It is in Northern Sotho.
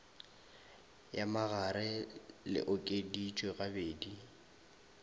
ya magare le okeditšwe gabedi